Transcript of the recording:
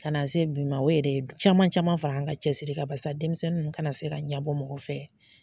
Ka na se bi ma o yɛrɛ ye caman caman fara an ka cɛsiri kan barisa denmisɛnnin ninnu kana se ka ɲabɔ mɔgɔ fɛ